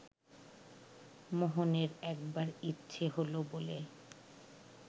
মোহনের একবার ইচ্ছে হলো বলে